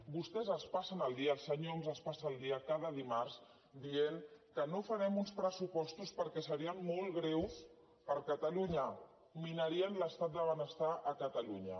vostès es passen el dia el senyor homs es passa el dia cada dimarts dient que no farem uns pressupostos perquè serien molt greus per a catalunya minarien l’estat del benestar a catalunya